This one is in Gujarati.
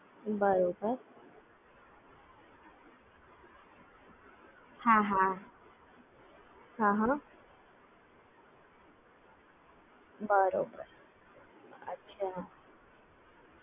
બરોબર